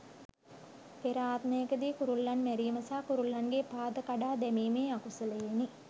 පෙර ආත්මයකදී කුරුල්ලන් මැරීම සහ කුරුල්ලන්ගේ පාද කඩා දැමීමේ අකුසලයෙනි.